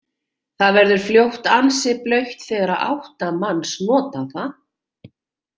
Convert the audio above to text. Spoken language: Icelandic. Það verður fljótt ansi blautt þegar átta manns nota það.